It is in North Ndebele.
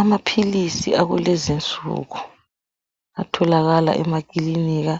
Amaphilisi akulezi insuku atholakala emakilinika,